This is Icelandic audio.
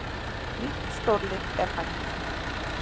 Nýtt stórlið er fætt